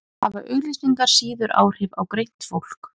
hafa auglýsingar síður áhrif á greint fólk